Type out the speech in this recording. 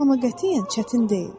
Amma qətiyyən çətin deyil.